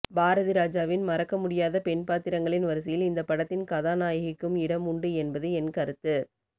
பாரதிராஜாவின் மறக்க முடியாத பெண்பாத்திரங்களின் வரிசையில் இந்த படத்தின் கதாநாயகிக்கும் இடம் உண்டு என்பது என் கருத்து